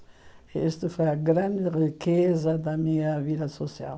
E isso foi a grande riqueza da minha vida social.